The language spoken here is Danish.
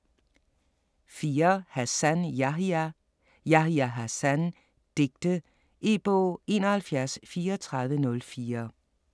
4. Hassan, Yahya: Yahya Hassan: digte E-bog 713404